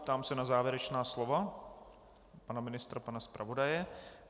Ptám se na závěrečná slova pana ministra, pana zpravodaje.